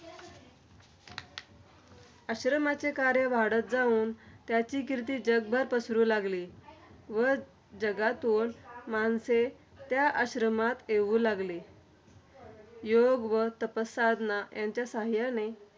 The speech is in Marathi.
आश्रमाचे कार्य वाढत जाऊन, त्याची कीर्ती जगभर पसरू लागली. व जगातून माणसे त्या आश्रमात येऊ लागली. योग्य व तापसाधना यांच्या साहाय्याने